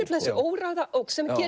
þessi óræða ógn sem